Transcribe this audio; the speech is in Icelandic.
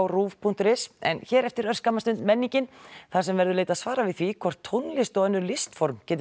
kastljosruv punktur is en hér eftir örskamma stund menningin þar sem verður leitað svara við því hvort tónlist og önnur listform geti